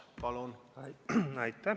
Palun!